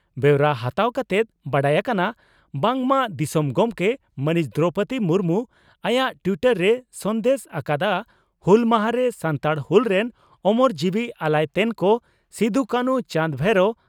ᱵᱮᱣᱨᱟ ᱦᱟᱛᱟᱣ ᱠᱟᱛᱮᱫ ᱵᱟᱰᱟᱭ ᱟᱠᱟᱱᱟ ᱵᱟᱝᱢᱟ ᱫᱤᱥᱚᱢ ᱜᱚᱢᱠᱮ ᱢᱟᱹᱱᱤᱡ ᱫᱨᱚᱣᱯᱚᱫᱤ ᱢᱩᱨᱢᱩ ᱟᱭᱟᱜ ᱴᱤᱭᱴᱚᱨ ᱨᱮᱭ ᱥᱟᱸᱫᱮᱥ ᱟᱠᱟᱫᱼᱟ ᱺᱼ "ᱦᱩᱞ ᱢᱟᱦᱟ ᱨᱮ ᱥᱟᱱᱛᱟᱲ ᱦᱩᱞ ᱨᱮᱱ ᱳᱢᱳᱨ ᱡᱤᱣᱤ ᱟᱞᱟᱭ ᱛᱮᱱ ᱠᱚ ᱥᱤᱫᱚᱼᱠᱟᱹᱱᱷᱩ ᱪᱟᱸᱫᱽ ᱵᱷᱟᱭᱨᱚ